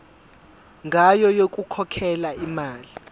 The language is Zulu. ngayo yokukhokhela imali